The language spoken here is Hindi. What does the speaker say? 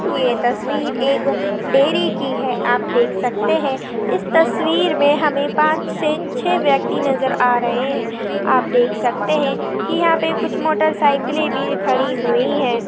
ये तस्वीर एक डेरी की है। आप देख सकते है। इस तस्वीर मे हमे पाच से छे व्यक्ति नज़र आ रहे है। आप देख सकते है। की यहा पे कुछ मोटर सायकिले भी खड़ी हुई है।